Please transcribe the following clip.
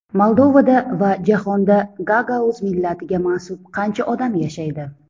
Moldovada va jahonda gagauz millatiga mansub qancha odam yashaydi?